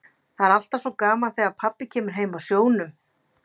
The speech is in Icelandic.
Það er alltaf svo gaman þegar pabbi kemur heim af sjónum.